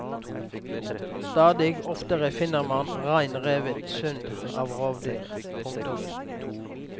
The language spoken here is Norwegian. Stadig oftere finner man rein revet sund av rovdyr. punktum